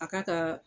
A k'a kaa